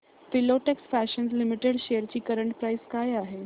Filatex Fashions Limited shares ची current price काय आहे